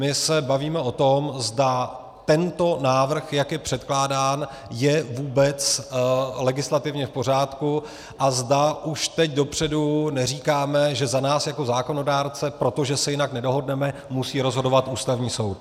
My se bavíme o tom, zda tento návrh, jak je předkládán, je vůbec legislativně v pořádku a zda už teď dopředu neříkáme, že za nás jako zákonodárce, protože se jinak nedohodneme, musí rozhodovat Ústavní soud.